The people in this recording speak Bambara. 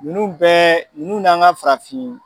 Ninnu bɛɛ ninnu n'an ka farafin